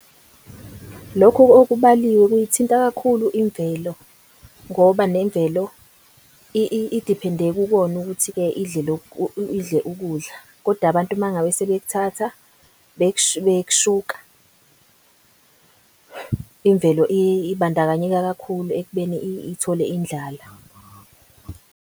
Lokhu okubaliwe kuyithinta kakhulu imvelo ngoba nemvelo idiphende kukona ukuthi idle ukudla kodwa abantu mangabe sebekuthatha bekushuka. Imvelo ibandakanyeka kakhulu ekubeni ithole indlala.